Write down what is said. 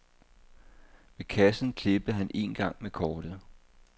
Ved kassen klippede han en gang med kortet.